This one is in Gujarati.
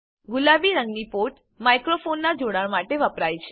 ગુલાબી રંગની પોર્ટ માઈક્રોફોનનાં જોડાણ માટે વપરાય છે